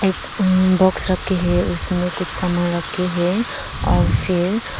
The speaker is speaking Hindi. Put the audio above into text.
एक अं बॉक्स रखे हैं उसमें कुछ सामान रखे हैं और फिर--